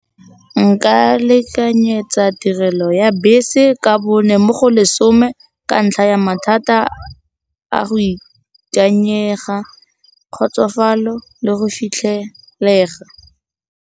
Nka lekanyetsa tirelo ya bese ka bone mo go lesome ka ntlha ya mathata a go ikanyega, kgotsofalo le go fitlhelega.